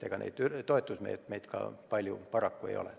Ja ega neid toetusmeetmeid ka paraku palju ole.